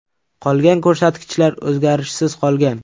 Qolgan ko‘rsatkichlar o‘zgarishsiz qolgan.